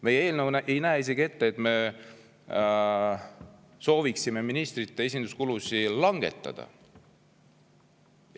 Meie eelnõu ei näe isegi ette ministrite esinduskulude langetamist.